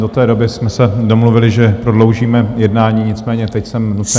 Do té doby jsme se domluvili, že prodloužíme jednání, nicméně teď jsem nucen...